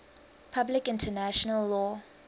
public international law